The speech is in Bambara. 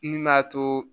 Min m'a to